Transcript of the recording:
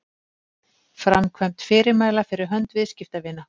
framkvæmd fyrirmæla fyrir hönd viðskiptavina